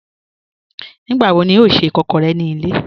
Nígbàwọ̀ ní ọ̀ n ṣẹ́ ìkàkọ̀rẹ̀ ní ilẹ̀?